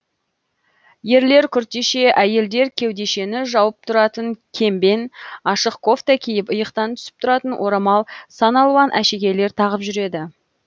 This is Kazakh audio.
ерлер күртеше әйелдер кеудешені жауып тұратын кембен ашық кофта киіп иықтан түсіп тұратын орамал сан алуан әшекейлер тағып жүреді